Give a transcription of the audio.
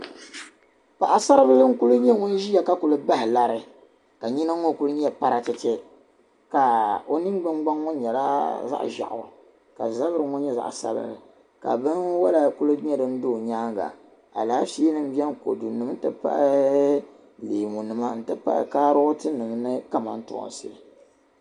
paɣa sari bila n kuli nyɛ ŋun ʒia ka kuli bahi lari ka nyina kuli ne paratete kaa o ningbun gnaŋ ŋɔ nyɛla zaɣi ʒeɣu ka zabiri ŋɔ nyɛ zaɣi sabinli ka binwala kuli nyɛ din do o nyaaga alaafee nim beni kodu nima n ti pahi leemu nima n ti pahi kaaroti nima ni kamantoonsi